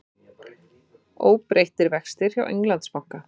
Óbreyttir vextir hjá Englandsbanka